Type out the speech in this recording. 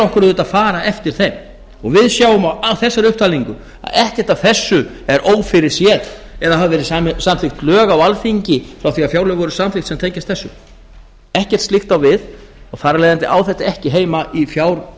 okkur að fara eftir þeim við sjáum á þessari upptalningu að ekkert af þessu er ófyrirséð eða hafa verið samþykkt lög á alþingi frá því að fjárlög voru samþykkt sem tengjast þessu ekkert slíkt á við og þar af leiðandi á þetta ekki heima í